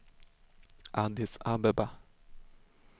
Addis Abeba